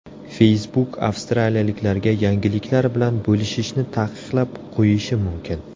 Facebook avstraliyaliklarga yangiliklar bilan bo‘lishishni taqiqlab qo‘yishi mumkin.